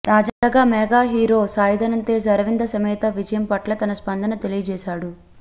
తాజాగా mega hero Sai Dharam Tej Aravinda Sametha విజయం పట్ల తన స్పందన తెలియజేశాడు